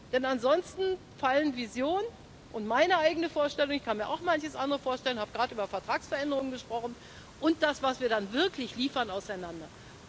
Denn ansonsten fallen Vision und meine eigene Vorstellung ich kann mir auch manches andere vorstellen, ich habe gerade über Vertragsveränderungen gesprochen und das, was wir dann wirklich liefern, auseinander.